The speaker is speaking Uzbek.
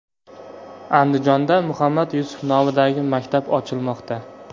Andijonda Muhammad Yusuf nomidagi maktab ochilmoqda.